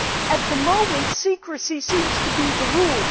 at the moment secrecy seems to be the rule.